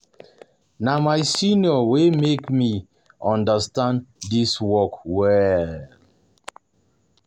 Na my senior um wey um make me understand dis work well